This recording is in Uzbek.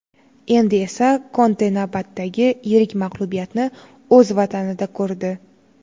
Endi esa Konte navbatdagi yirik mag‘lubiyatni o‘z vatanida ko‘rdi.